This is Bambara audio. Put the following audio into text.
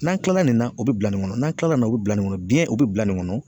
N'an kilala nin na, o be bila nin kɔnɔ, n'a kilala nin na, o be bila nin kɔnɔ, biɲɛn o bɛ bila nin kɔnɔ.